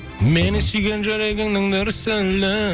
мені сүйген жүрегіңнің дүрсілі